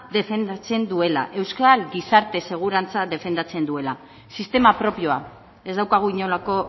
defendatzen duela euskal gizarte segurantza defendatzen duela sistema propioa ez daukagu inolako